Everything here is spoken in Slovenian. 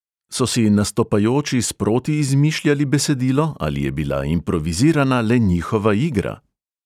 So si nastopajoči sproti izmišljali besedilo ali je bila improvizirana le njihova "igra"?